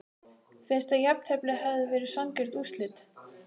Finnst að jafntefli hefði verið sanngjörn úrslit?